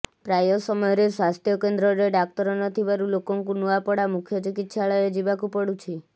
ପ୍ରାୟ ସମୟରେ ସ୍ବାସ୍ଥ୍ୟ କେନ୍ଦ୍ରରେ ଡାକ୍ତର ନ ଥିବାରୁ ଲୋକଙ୍କୁ ନୂଆପଡ଼ା ମୁଖ୍ୟ ଚିକିତ୍ସାଳୟ ଯିବାକୁ ପଡୁଛି